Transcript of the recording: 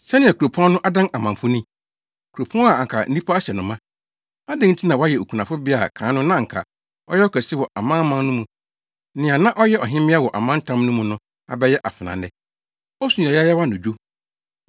Sɛnea kuropɔn no adan amamfo ni, kuropɔn a anka nnipa ahyɛ no ma! Adɛn nti na wayɛ okunafobea a kan no na anka ɔyɛ ɔkɛse wɔ amanaman no mu? Nea na ɔyɛ ɔhemmea wɔ amantam no mu no abɛyɛ afenaa nnɛ.